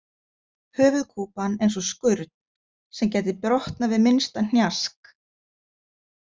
Höfuðkúpan eins og skurn sem gæti brotnað við minnsta hnjask.